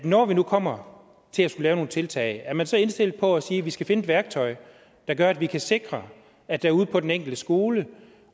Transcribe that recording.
når vi nu kommer til at skulle lave nogle tiltag er man så indstillet på at sige at vi skal finde et værktøj der gør at vi kan sikre at der ude på den enkelte skole